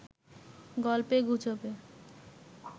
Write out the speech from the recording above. গল্পে গুজবে